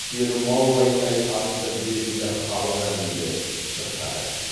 керім ау айдай атты белгілі халық әнін де шырқады